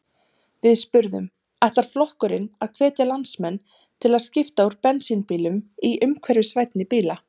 Við spurðum: Ætlar flokkurinn að hvetja landsmenn til að skipta úr bensínbílum í umhverfisvænni bíla?